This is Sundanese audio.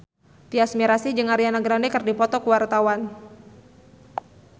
Tyas Mirasih jeung Ariana Grande keur dipoto ku wartawan